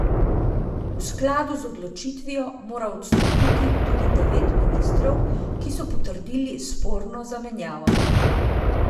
V skladu z odločitvijo mora odstopiti tudi devet ministrov, ki so potrdili sporno zamenjavo.